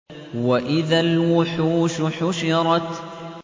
وَإِذَا الْوُحُوشُ حُشِرَتْ